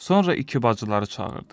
Sonra iki bacıları çağırdı.